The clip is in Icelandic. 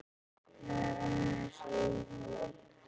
Það er aðeins ein leið